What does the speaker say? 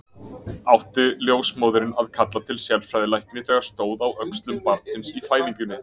Átti ljósmóðirin að kalla til sérfræðilækni þegar stóð á öxlum barnsins í fæðingunni?